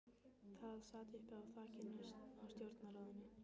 Það sat uppi á þakinu á stjórnarráðinu.